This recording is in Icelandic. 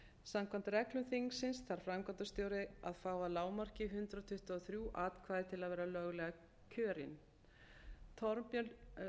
samkvæmt reglum þingsins þarf framkvæmdastjóri að fá að lágmarki hundrað tuttugu og þrjú atkvæði til að vera löglega